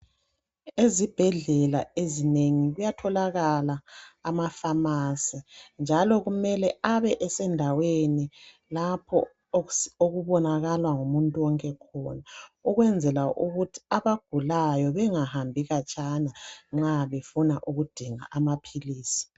Ezibhedlela ezinengi kuyatholakala amafamasi njalo kumele abe esendaweni lapho okubonakala ngumuntu wonke khona, ukwenzela ukuthi abagulayo bangahambi khatshana nxa befuna ukudinga amaphilisi.